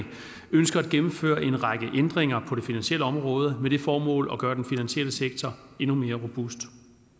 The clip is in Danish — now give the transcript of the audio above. ønsker at gennemføre en række ændringer på det finansielle område med det formål at gøre den finansielle sektor endnu mere robust